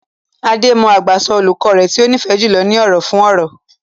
Ade mọ àgbàsọ olùkọ́ rẹ̀ tí ó nífẹ̀ẹ́ jùlọ ní ọ̀rọ̀ fún ọ̀rọ̀.